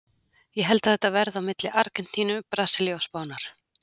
Ég held að þetta verði á milli Argentínu, Brasilíu og Spánar.